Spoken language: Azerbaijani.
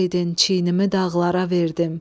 Dağ idin çiynimi dağlara verdim.